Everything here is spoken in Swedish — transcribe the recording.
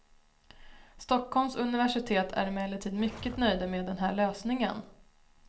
Stockholms universitet är emellertid mycket nöjda med den här lösningen.